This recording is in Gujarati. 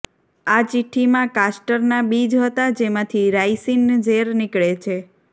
આ ચિઠ્ઠીમાં કાસ્ટરના બીજ હતા જેમાંથી રાઇસીન ઝેર નીકળે છે